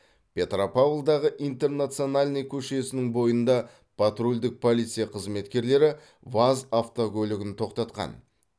петропавлдағы интернациональный көшесінің бойында патрульдік полиция қызметкерлері ваз автокөлігін тоқтатқан